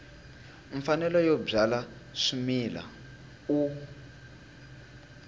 mfanelo yo byala swimila u